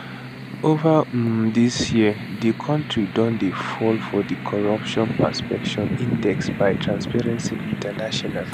ova um di years di kontri don dey fall for di corruption perception index by transparency international